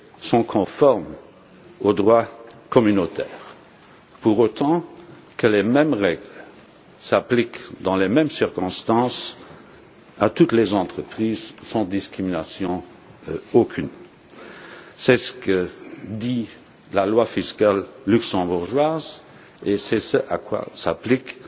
sont conformes au droit communautaire, pour autant que les mêmes règles s'appliquent dans les mêmes circonstances à toutes les entreprises sans discrimination aucune. C'est ce que dit la loi fiscale luxembourgeoise et c'est ce à quoi s'appliquent